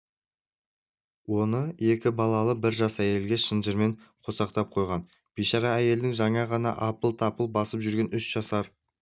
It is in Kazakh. оны екі балалы бір жас әйелге шынжырмен қосақтап қойған бейшара әйелдің жаңа ғана апыл-тапыл басып жүрген үш жасар